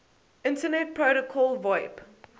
internet protocol voip